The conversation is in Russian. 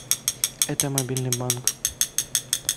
это мобильный банк